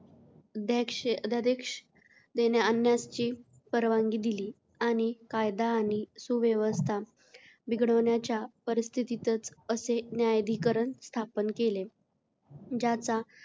देश अध्यादेश देण्या आणण्याची परवानगी दिली आणि कायदा आणि सुव्यवस्था बिघडण्याच्या परिस्थितीतच असे न्यायाधिकरण स्थापन केले. ज्याचा,